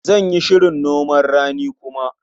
Zan yi shirin noman rani kuma.